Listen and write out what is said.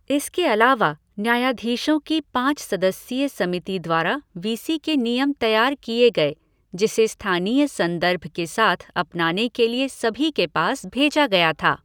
इसके अलावा, न्यायाधीशों की पाँच सदस्यीय समिति द्वारा वीसी के नियम तैयार किए गए जिसे स्थानीय संदर्भ के साथ अपनाने के लिए सभी के पास भेजा गया था।